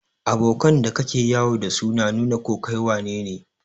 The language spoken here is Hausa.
Abokan da ka ke yawo da su na nu na ko kai wanene.